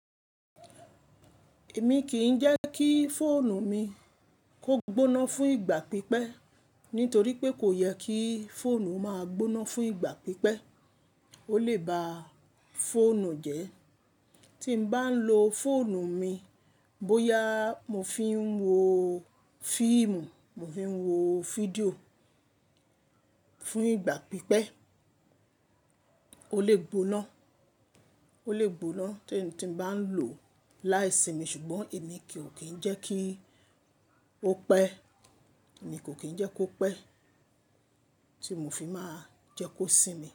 Èmi kì í jẹ́ kí fóònù mi kó gbóná fún ìgbà pípẹ́ nítorí pé kò yẹ kí fóònù máa gbóná fún ìgbà pípẹ́. Ó lè ba fóònù jẹ́. Tí m bá ń lo fóònù mi, bóyá mo fi ń wo fíìmù, mo fi ń wo fídíò fún ìgbà pípẹ́, Tí mo bá ń lo fóònù mi, bóyá mo fi ń wo fíìmù, mo fi ń wo fídíò fún ìgbà pípẹ́, ó lè gbóná, ó lè gbóná tí mo bá ń lò ó láì sí mi ṣùgbọ́n èmi kì ó kín ń jẹ́ kí ó pẹ́.